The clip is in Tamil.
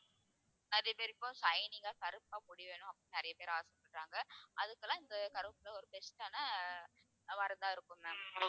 நெறைய பேருக்கு shining ஆ கருப்பா முடி வேணும் அப்படின்னு நிறைய பேர் ஆசைப்படுறாங்க அதுக்கெல்லாம் இந்த கருவேப்பிலை ஒரு best ஆன இருக்கும் ma'am